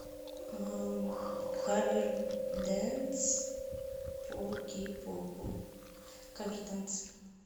кавер дэнс по кей попу кавер дэнс